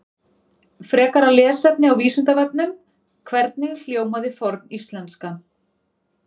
Frekara lesefni á Vísindavefnum: Hvernig hljómaði forníslenska?